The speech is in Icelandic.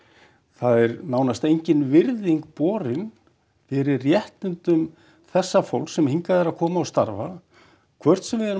það er nánast engin virðing borin fyrir réttindum þessa fólks sem hingað er að koma og starfa hvort sem við erum